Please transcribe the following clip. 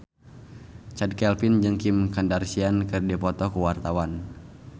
Chand Kelvin jeung Kim Kardashian keur dipoto ku wartawan